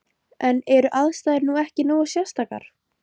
En eru aðstæður nú ekki nógu sérstakar?